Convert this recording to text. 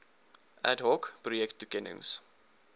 ad hoc projektoekennings